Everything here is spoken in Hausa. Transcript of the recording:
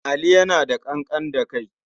Ali yana da ƙanƙan da kai.